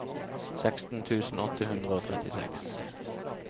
seksten tusen åtte hundre og trettiseks